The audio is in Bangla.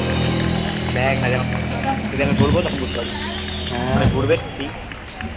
দেখ না যখন stadium এ ঘুরব তখন বুঝতে পারবি মানে ঘুরবে team